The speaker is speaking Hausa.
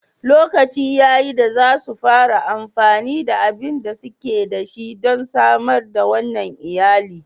Lokaci ya yi da za su fara amfani da abin da suke da shi don samar wa wannan iyali.